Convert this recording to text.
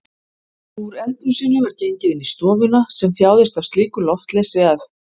Úr eldhúsinu var gengið inn í stofuna sem þjáðist af slíku loftleysi að